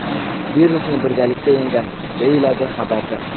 Virusni birgalikda yengamiz!”, deyiladi xabarda.